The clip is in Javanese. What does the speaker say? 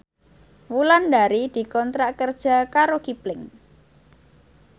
Wulandari dikontrak kerja karo Kipling